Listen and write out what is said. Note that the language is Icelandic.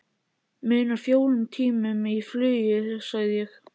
Munar fjórum tímum í flugi sagði ég.